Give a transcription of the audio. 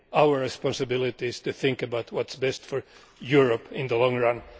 Our responsibility is to think about what is best for Europe in the long run.